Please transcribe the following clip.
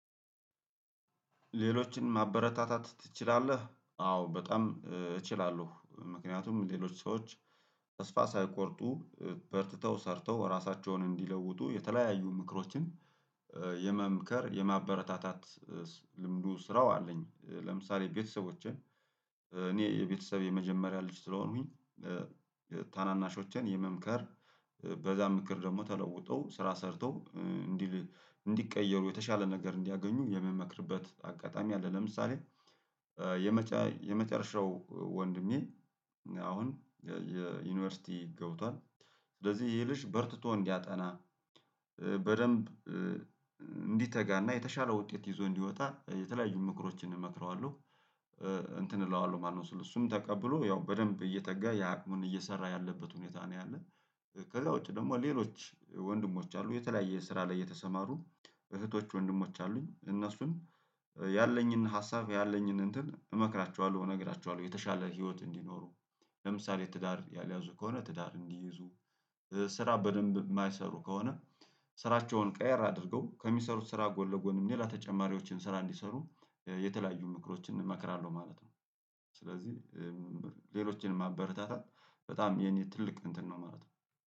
ሌሎችን ማበረታታት ትችላለህ? አዎ በጣም እችላለሁ ምክንያቱም ሌሎች ሰዎች ተስፋ ሳይቆርጡ በርትተው ሰርተው ራሳቸውን እንዲለውጡ የተለያዩ ምክሮችን የመምከር የማበረታታት ልምዱ ስራው አለኝ። ለምሳሌ ቤተሰቦችን እኔ የቤተሰብ የመጀመሪያ ልጅ ስለሆኑኝ ታናናሾችን የመምከር በዛ ምክር ደግሞ ተለውጦ ስራ ሰርተው እንዲል እንዲቀየሩ የተሻለ ነገር እንዲያገኙ የምመክርበት አጋጣሚ አለ። ለምሳሌ የመጨረሻው ወንድሜ አሁን የዩኒቨርሲቲ ገብቷል ስለዚህ ይህ ልጅ በርትቶ እንዲያጠና በደንብ እንዲተጋና የተሻለ ውጤት ይዞ እንዲወጣ የተለያዩ ምክሮችን እመክረዋለሁ። እንትን እለዋለሁ ማለት ነው ስለው እሱም ተቀብሎ ያው በደንብ እየተጋ ያቅሙን እየሰራ ያለበት ሁኔታ ነው ያለው። ከዛ ውጪ ደግሞ ሌሎች ወንድሞች አሉ የተለያየ ስራ ላይ የተሰማሩ እህቶች ወንድሞች አሉኝ እነሱን ያለኝን ሀሳብ ያለኝን እንትን እመክራቸዋለሁ እነግራቸዋለሁ። የተሻለ ህይወት እንዲኖሩ ለምሳሌ ትዳር ያልያዙ ከሆነ ትዳር እንዲይዙ ስራ በደንብ የማይሰሩ ከሆነ ስራቸውን ቀየር አድርገው ከሚሰሩት ስራ ጎን ለጎንም ሌላ ተጨማሪዎችን ስራ እንዲሰሩ የተለያዩ ምክሮችን እንመክራለሁ ማለት ነው። ስለዚህ ሌሎችንም ማበረታታል በጣም የኔ ትልቅ እንትን ነው ማለት ነው